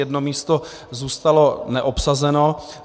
Jedno místo zůstalo neobsazeno.